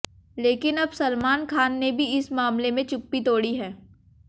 लेकिन अब सलमान खान ने भी इस मामले में चुप्पी तोड़ी है